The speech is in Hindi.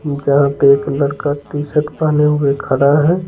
जहां पे एक लड़का टी-शर्ट पहने हुए खड़ा है।